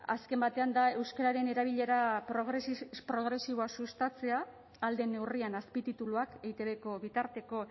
azken batean da euskararen erabilera progresiboa sustatzea ahal den neurrian azpitituluak eitbko bitarteko